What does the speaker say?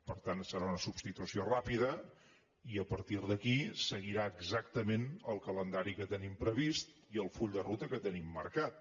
per tant serà una substitució ràpida i a partir d’aquí seguirà exactament el calendari que tenim previst i el full de ruta que tenim marcat